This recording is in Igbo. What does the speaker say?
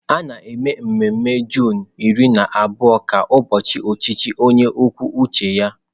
A na-eme mmemme Juunu iri na abụọ ka ụbọchị ọchịchị onye kwuo uche ya..